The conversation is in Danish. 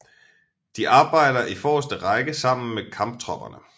De arbejder i forreste række sammen med Kamptropperne